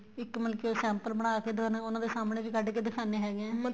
ਇੱਕ ਮਤਲਬ ਕੀ ਉਹ sample ਬਣਾਕੇ ਦੋਨਾ ਉਹਨਾ ਦੇ ਸਾਹਮਣੇ ਵੀ ਕੱਢਕੇ ਦਿਖਾਣੇ ਹੈਗੇ ਏ